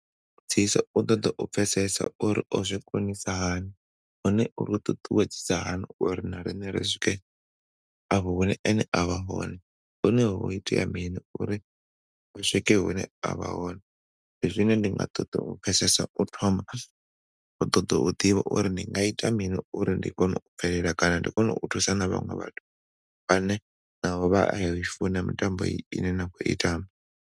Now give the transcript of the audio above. Ṱoḓa u pfesesa uri o zwi konisa hani, hone uri ṱuṱuwedzisa hani uri na riṋe ri swike afho hune ene a vha hone. Hone ho itea mini uri a swike hune avha hone ndi zwine ndi nga ṱoḓa u pfesesa u thoma u ṱoḓo ḓivha uri ndi nga ita mini uri ndi kone u bvelela kana ndi kone u thusana na vhaṅwe vhathu vhane na vho vha ya i funa mitambo ine na khou i tamba.